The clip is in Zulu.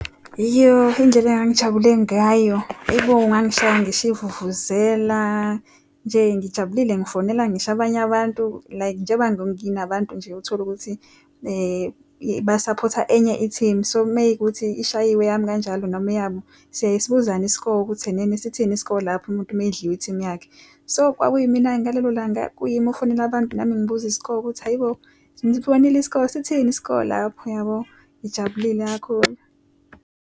Yoh, indlela engangijabule ngayo, aibo ngangishaya ngisho ivuvuzela. Nje ngijabulile ngifonela ngisho abanye abantu. Like njengoba nginabantu nje utholukuthi basaphotha enye ithimu, so meyukuthi ishayiwe eyami kanjalo noma eyabo, siyaye sibuzane i-score ukuthi enene sitheni i-score lapho umuntu uma edliwe ithimu yakhe. So kwakuyi mina-ke ngalelo langa, kuyimi ofonela abantu nami ngibuza i-score ukuthi hhayi bo, nibonile i-score? Sithini i-score lapho? Uyabo, ngijabulile kakhulu.